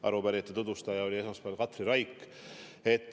Arupärijate nimel tutvustaja oli esmaspäeval Katri Raik.